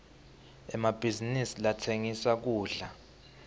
emabhizinisi latsengisa kudla